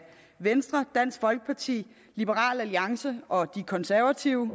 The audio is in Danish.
venstre dansk folkeparti liberal alliance og de konservative